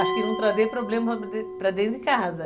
Acho que não trazer problema para para dentro de casa.